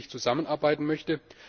zusammenarbeiten möchte.